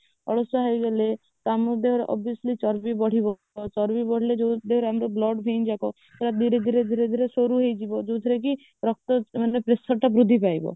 ଅଳସୁଆ ହେଇଗଲୁ ତ ଆମର obviously ଚର୍ବି ବଢିବ ଚର୍ବି ବଢିଲେ ଆମର blood vain ଯାକ ସେଗୁଡା ଧୀରେ ଧୀରେ ଧୀରେ ଧୀରେ ସରୁ ହେଇଯିବ ଯଉଥିରେ କି ରକ୍ତ ମାନେ pressure ଟା ବୃଦ୍ଧି ପାଇବ